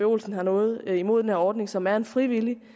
olsen har noget imod den her ordning som er en frivillig